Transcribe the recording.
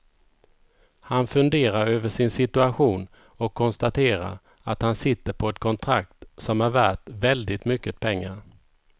Han funderar över sin situation och konstaterar att han sitter på ett kontrakt som är värt väldigt mycket pengar.